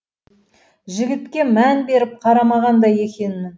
жігітке мән беріп қарамаған да екенмін